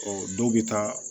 Ɔ dɔw bɛ taa